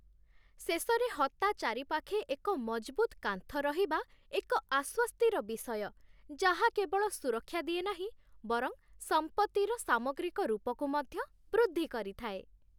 ଶେଷରେ ହତା ଚାରିପାଖେ ଏକ ମଜବୁତ୍ କାନ୍ଥ ରହିବା ଏକ ଆଶ୍ୱସ୍ତିର ବିଷୟ, ଯାହା କେବଳ ସୁରକ୍ଷା ଦିଏ ନାହିଁ, ବରଂ ସମ୍ପତ୍ତିର ସାମଗ୍ରିକ ରୂପକୁ ମଧ୍ୟ ବୃଦ୍ଧି କରିଥାଏ